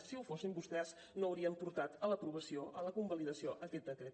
si ho fossin vostès no haurien portat a l’aprovació a la convalidació aquest decret